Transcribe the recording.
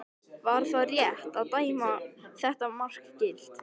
Var það rétt að dæma þetta mark gilt?